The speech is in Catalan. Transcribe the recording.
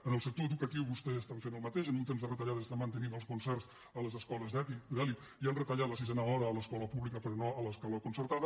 en el sector educatiu vostès estan fent el mateix en un temps de retallades estan mantenint el concerts a les escoles d’elit i han retallat la sisena hora a l’escola pública però no a l’escola concertada